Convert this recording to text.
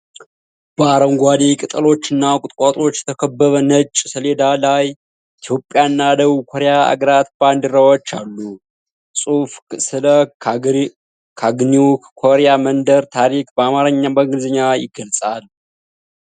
በአረንጓዴ ቅጠሎችና ቁጥቋጦዎች የተከበበ ነጭ ሰሌዳ ላይ ኢትዮጵያና ደቡብ ኮሪያ አገራት ባንዲራዎች አሉ። ጽሑፉ ስለ "ካግኒው ኮርያን መንደር" ታሪክ በአማርኛ እና በእንግሊዝኛ ይገልፃል።